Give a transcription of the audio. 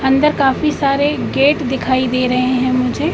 अंदर काफी सारे गेट दिखाई दे रहे हैं मुझे।